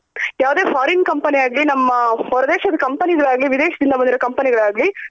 ಯಾವದೇ foreign company ಆಗ್ಲಿ ನಮ್ಮ ಹೋರ್ ದೇಶದ company ಗಳಗಾಲಿ ವಿದೀಶದಿಂದ ಬಂದಿರೋ company ಗಳಾಗಲಿ